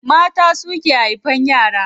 Mata suke haifan yara.